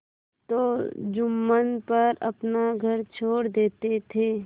तो जुम्मन पर अपना घर छोड़ देते थे